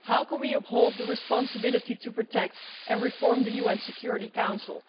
How can we uphold the responsibility to protect and reform the UN Security Council?